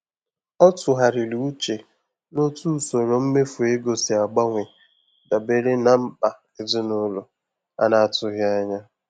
Ọ tụgharịrị uche n'otú usoro mmefu ego si agbanwe dabere na mkpa ezinụlọ a na-atụghị anya ya.